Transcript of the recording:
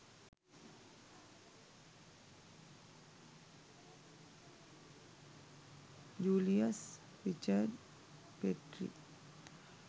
julius richard petri